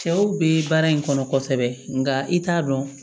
Cɛw be baara in kɔnɔ kosɛbɛ nka i t'a dɔn